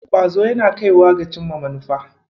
Ƙwazo yaana kaiwa ga cimma manufa.